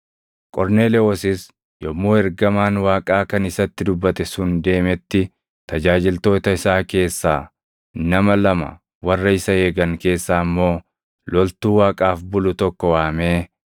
Qorneelewoosis yommuu ergamaan Waaqaa kan isatti dubbate sun deemetti tajaajiltoota isaa keessaa nama lama, warra isa eegan keessaa immoo loltuu Waaqaaf bulu tokko waamee,